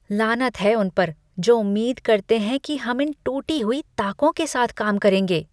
लानत है उन पर जो उम्मीद करते हैं कि हम इन टूटी हुई ताकों के साथ काम करेंगे।